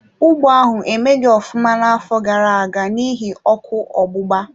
Ugbo ahụ emeghi ofụma n'afọ gara-aga n'ihi ọkụ ogbugba.